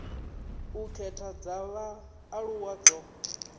u khetha dza vhaaluwa dzo